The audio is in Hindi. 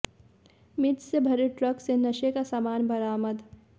मिर्च से भरे ट्रक से नशे का सामान बरामद